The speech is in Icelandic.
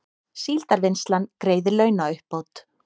Síldarvinnslan greiðir launauppbót